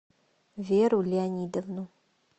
веру леонидовну